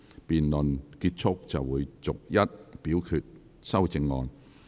辯論結束後便會逐一表決修正案。